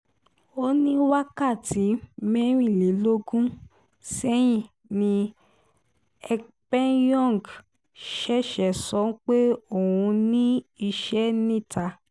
ó ní wákàtí mẹ́rìnlélógún sẹ́yìn ni ekpenyọ̀ng ṣẹ̀ṣẹ̀ sọ pé òun ní iṣẹ́ níta